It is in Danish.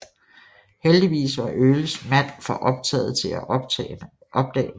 Heldigvis var Earlys mænd for optagede til at opdage noget